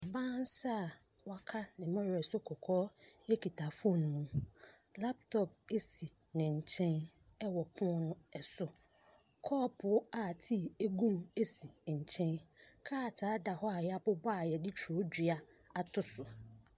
Ɔbaa nsa a wɔaka ne mmɔwerɛ so kɔkɔɔ kita foonu mu. Laptop si ne nkyɛn wɔ pono no so. Kɔɔpoo a tea gu mu si nkyɛn. Krataa da hɔ a wɔabobɔ a wɔde twerɛdua ato so.